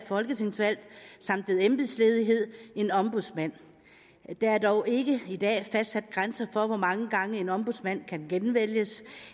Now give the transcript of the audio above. folketingsvalg samt ved embedsledighed en ombudsmand der er dog ikke i dag fastsat grænser for hvor mange gange en ombudsmand kan genvælges